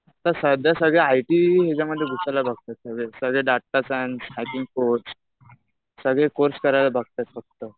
सध्या सगळे I T याच्यामध्ये घुसायला बघतात सगळे डाटा सायन्स, हॅकिंग कोर्स. सगळे कोर्स करायला बघतात फक्त.